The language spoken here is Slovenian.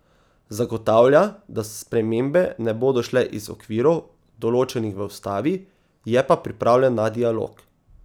Zagotavlja, da spremembe ne bodo šle iz okvirov, določenih v ustavi, je pa pripravljen na dialog.